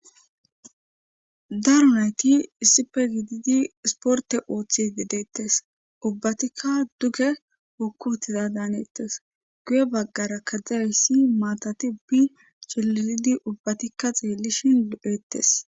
Daro nayti issife gididi sporte ooththi dedeettes ubbatikka duge hokku utiza daanettes guye baggara didayayssi maatati cililidi ubbatikka xeellishhin eettes